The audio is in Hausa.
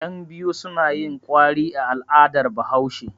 Yanbiyu suna yin kwari a al'adar Bahaushe.